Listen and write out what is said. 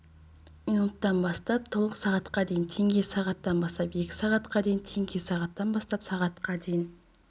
минуттан бастап толық сағатқа дейін теңге сағаттан бастап екі сағатқа дейін теңге сағаттан бастап сағатқа дейін